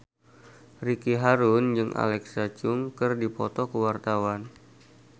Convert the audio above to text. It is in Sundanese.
Ricky Harun jeung Alexa Chung keur dipoto ku wartawan